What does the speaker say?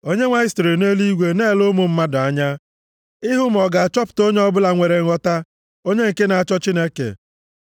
Onyenwe anyị sitere nʼeluigwe na-ele ụmụ mmadụ anya ịhụ ma ọ ga-achọta onye ọbụla nwere nghọta onye nke na-achọ Chineke.